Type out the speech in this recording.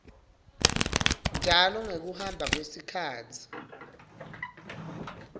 njalo ngekuhamba kwesikhatsi